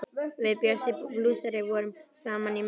Við Bjössi blúsari vorum saman í meðferð.